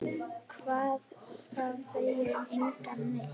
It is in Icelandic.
Hvað, það segir enginn neitt.